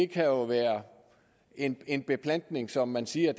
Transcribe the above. kan jo vedrøre en en beplantning som man siger